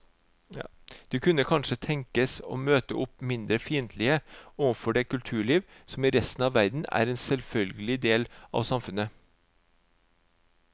De kunne kanskje tenkes å møte opp mindre fiendtlige overfor det kulturliv som i resten av verden er en selvfølgelig del av samfunnet.